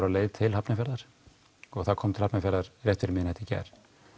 á leiðinni til Hafnarfjarðar og það kom til Hafnarfjarðar rétt fyrir miðnætti í gær